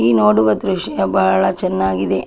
ಈ ನೋಡುವ ದೃಶ್ಯ ಬಹಳ ಚೆನ್ನಾಗಿ ಇದೆ.